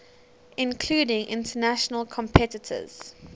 including international competitors